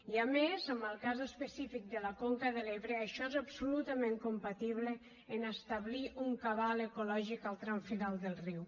i a més en el cas específic de la conca de l’ebre això és absolutament compatible amb establir un cabal ecològic al tram final del riu